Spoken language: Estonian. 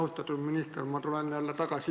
Austatud minister!